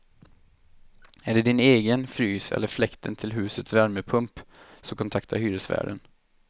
Är det din egen frys eller fläkten till husets värmepump, så kontakta hyresvärden.